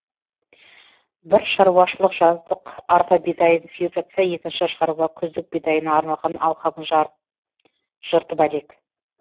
бір шаруашылық жаздық арпа бидайын сеуіп жатса екінші шаруа күздік бидайына арналған алқабын жыртып әлек